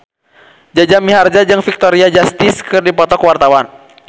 Jaja Mihardja jeung Victoria Justice keur dipoto ku wartawan